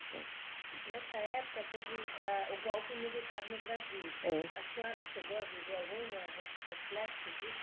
É. Nessa época teve, ah, o golpe militar no Brasil. É. A senhora chegou a viver algum re, reflexo disso